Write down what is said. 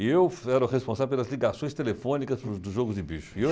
E eu era o responsável pelas ligações telefônicas dos Jogos de Bicho. E